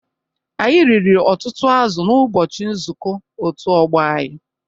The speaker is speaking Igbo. Anyị riri ọtụtụ azụ̀ n'ụbọchị nzuko otu ọgbo anyị.